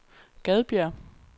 Gadbjerg